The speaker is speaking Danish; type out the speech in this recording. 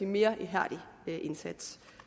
mere ihærdig indsats